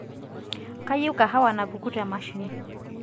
kayieu kahawa napuku te mashine